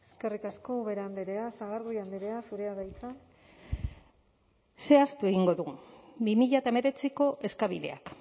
eskerrik asko ubera andrea sagardui andrea zurea da hitza zehaztu egingo dugu bi mila hemeretziko eskabideak